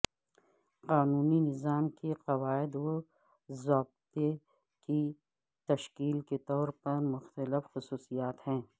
قانونی نظام کے قواعد و ضوابط کی تشکیل کے طور پر مختلف خصوصیات ہیں